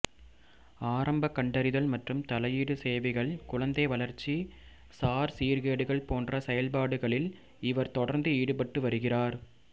ஆரம்ப கண்டறிதல் மற்றும் தலையீடு சேவைகள் குழந்தை வளர்ச்சி சார் சீர்கேடுகள் போன்ற செயல்பாடுகளில் இவர் தொடர்ந்து ஈடுபட்டு வருகிறார்